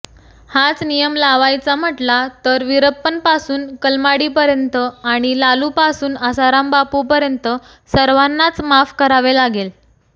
हाच नियम लावायचा म्हटला तर वीरप्पनपासून कलमाडींपर्यंत आणि लालूपासून आसारामबापूंपर्यंत सर्वांनाच माफ करावे लागेल